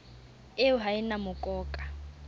eo ha e na mokoka